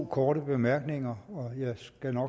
korte bemærkninger